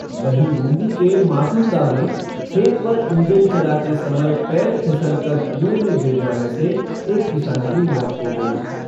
वहीं बूंदी के मारूंदा में खेत पर इंजन चलाते समय पैर फिसल कर कुँएं में गिर जाने से एक किसान की मौत हो गई।